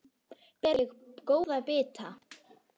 Ber ég góða bita.